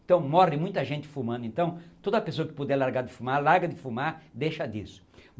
Então morre muita gente fumando, então toda pessoa que puder largar de fumar, larga de fumar, deixa disso.